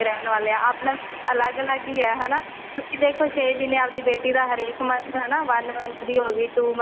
ਦੇ ਰਹਿਣ ਵਾਲੇ ਹਾਂ ਆਪਣਾ ਅਲੱਗ ਅਲੱਗ ਹੀ ਹੈਂ ਹਨਾ ਤੁਸੀਂ ਦੇਖੋ ਛੇ ਮਹੀਨੇ ਆਪਦੀ ਬੇਟੀ ਦਾ ਹਰੇਕ month ਹੇਣਾ one month ਦੀ ਹੋਗੀ two month